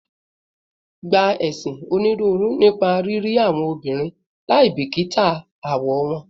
Gba esin oniruuru nipa riri awọn obinrin laibikita awọ wọn